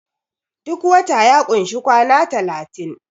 duk wata ya kunshi kwana talatin